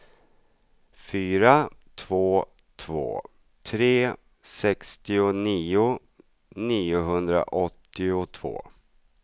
fyra två två tre sextionio niohundraåttiotvå